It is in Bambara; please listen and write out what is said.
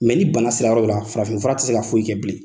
ni bana sera yɔrɔ dɔ la farafin fura tɛ se ka foyi kɛ bilen.